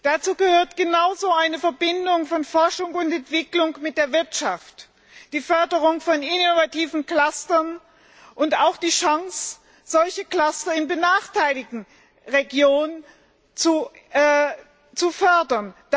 Dazu gehören genauso die Verbindung von Forschung und Entwicklung mit der Wirtschaft, die Förderung von innovativen Clustern und auch die Chance, solche Cluster in benachteiligten Regionen zu fördern.